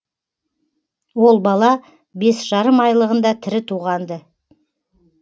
ол бала бес жарым айлығында тірі туған ды